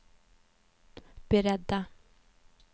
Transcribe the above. beredda